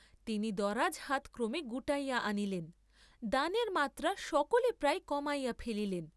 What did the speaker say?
তিনি দরাজ হাত ক্রমে গুটাইয়া আনিলেন, দানের মাত্রা সকলই প্রায় কমাইয়া ফেলিলেন।